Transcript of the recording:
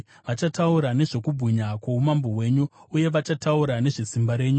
Vachataura nezvokubwinya kwoumambo hwenyu, uye vachataura nezvesimba renyu,